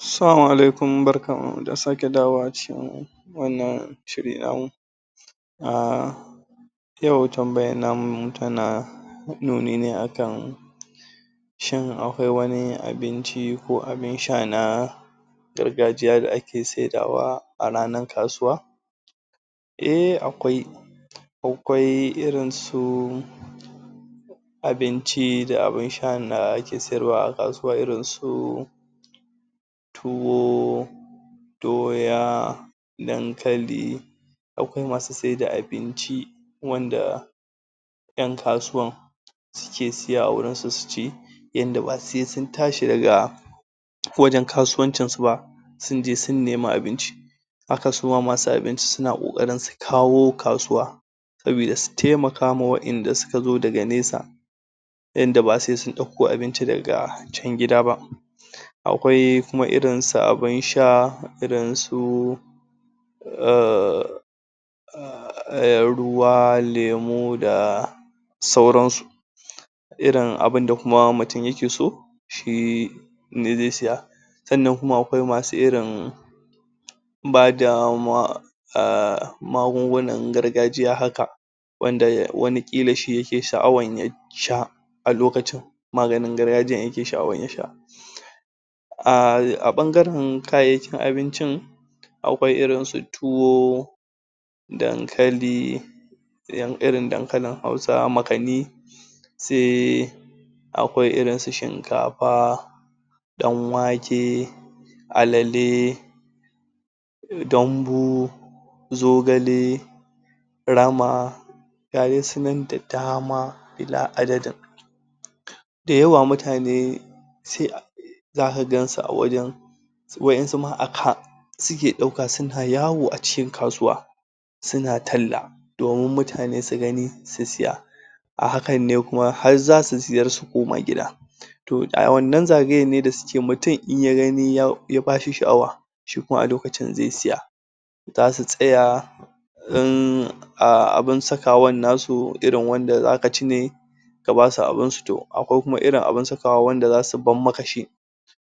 Assalamu alaikum. Barkan mu da sake dawowa a cikin wannan shirin namu um Yau tambayar namu tana nuni ne akan Shin, akwai wani abinci ko abin sha na gargajiya da ake sayarwa a ranar kasuwa? ehh akwai Akwai irin su abinci da abin sha da ake siyarwa a kasuwa irin su tuwo doya, dankali. Akwai masu sayar da abinci wanda 'yan kasuwa suke siya a wurin su su ci, inda ba sai sun tashi daga wajen kasuwar ba sunje sun nima abun ci Haka suma masu abinci suna ƙoƙari su kawo kasuwa domin su taimaka wa waɗanda suka zo daga nesa ta yadda ba sai sun ɗauko abinci daga gida ba Akwai kuma irin su abun sha irin su um ruwa, lemu da sauransu Irin abun da mutum yake so, shi ne zai siya sannan kuma akwai masu irin akwai masu bada magungunan gargajiya haka wanda kila shi yake, sha’awa ya sha a lokacin maganin gargajiyan yake sha'awar ya sha A ɓangaren kayayyakin abincin akwai irin su tuwo dankali (irin dankalin Hausa, makanni Shinkafa, Danwake, Alele dambu zogale rama Ga dai su nan da dama illa adadin dayawa mutane sai zaka gansu a wajen Wasu ma a kai suke ɗauka suna yawo da su a cikin kasuwa suna talla domin mutane su gani su siya a hakan ne kuma zasu sayar su koma gida Toh, a wannan zagayen da suke yi, mutum in ya gani ya bashi sha’awa, a lokacin zai siya zasu tsaya in abuand sakawan su wanda zaka ci ne Toh, akwai kuma irin saka wanda zasu bar maka shi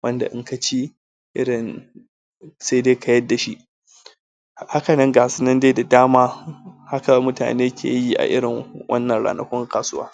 wanda inka ci irin sai dai ka yadda shi Haka nan ga su nan dai da dama haka mutane ke yi a irin wannan ranakun kasuwa